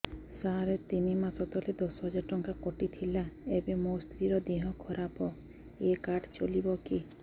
ସାର ତିନି ମାସ ତଳେ ଦଶ ହଜାର ଟଙ୍କା କଟି ଥିଲା ଏବେ ମୋ ସ୍ତ୍ରୀ ର ଦିହ ଖରାପ ଏ କାର୍ଡ ଚଳିବକି